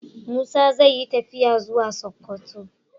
Musa zai yi tafiya zuwa sokoto